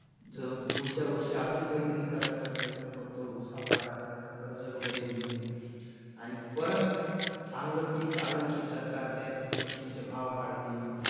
जो पुढच्या वर्षी अजून काहीतरी करण्याचा प्रयत्न करतो सावकाराकडनं कर्ज वगैरे घेऊन. आणि परत चांगलं पीक आलं की, सरकार त्या गोष्टींचे भाव पाडते.